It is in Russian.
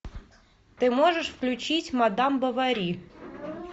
ты можешь включить мадам бовари